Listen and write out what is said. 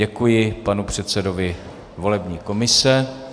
Děkuji panu předsedovi volební komise.